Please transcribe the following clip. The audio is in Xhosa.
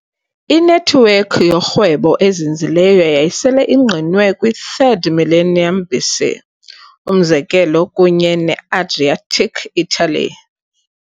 Inethiwekhi yorhwebo ezinzileyo yayisele ingqinwe kwi -3rd millennium BC, umzekelo kunye ne-Adriatic Italy.